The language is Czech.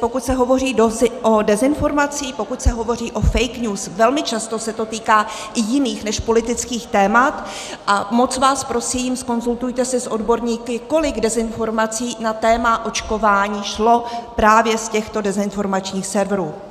pokud se hovoří o dezinformacích, pokud se hovoří o fake news, velmi často se to týká i jiných než politických témat, a moc vás prosím, zkonzultujte se s odborníky, kolik dezinformací na téma očkování šlo právě z těchto dezinformačních serverů.